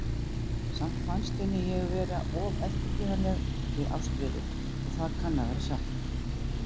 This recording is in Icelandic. Samt fannst henni ég vera of eftirgefanleg við Ástríði, og það kann að vera satt.